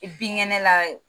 I binkɛnɛ la